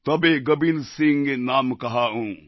তবে গোবিন্দসিংহ নাম কহায়ুঁ